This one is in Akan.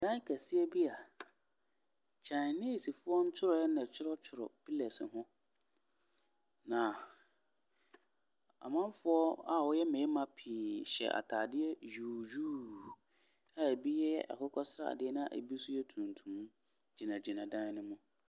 Dan kɛseɛ bia a chinesefoɔ ntwerɛ yɛ na twerɛ pillars hɔn na amanfoɔ a ɔmɔ yɛ mmarima piii hyɛ ataadeɛ yuuyuu a ebi yɛ akokɔɔ seradeɛ na ebi nso yɛ tuntum gyina gyina dan ni mu.